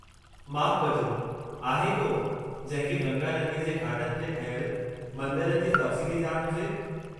माफ़ कजो, आहे को जंहिं खे गंगा नदीअ जे घाटनि ते ठहियल मंदरनि जे तफ़सीली ॼाण हुजे?